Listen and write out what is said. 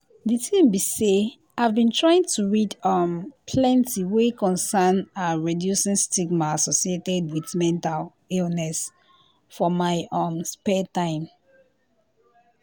de tin be say i’ve been trying to read um plenti wey concern ah reducing stigma associated wit mental illness for mai um spare taim.